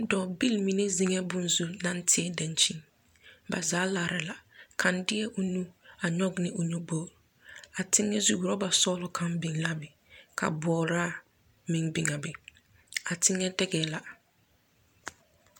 Dͻͻbil mine zeŋԑԑ bone zu naŋ teԑ daŋkyini. Ba zaa laara la. Kaŋ deԑ o nu a nyͻge ne o nyoboori. A teŋԑzu, aͻba sͻgelͻ kaŋ biŋ la a be ka bͻͻraa meŋ be a be. A teŋԑ deŋԑԑ la.